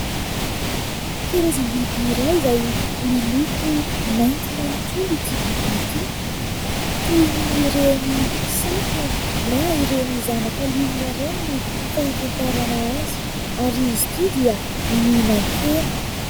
Karazam-biby iray izay miloko mainty manontolo ity biby ity, toy ny ireny saka na ireny zanaka liona ireny no fahafantarana azy ary izy ity dia mihinan-kena.